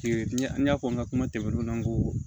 n y'a fɔ n ka kuma tɛmɛnenw na n ko